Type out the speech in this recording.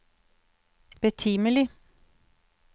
betimelig